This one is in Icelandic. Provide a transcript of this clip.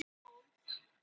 Hverju er það að þakka?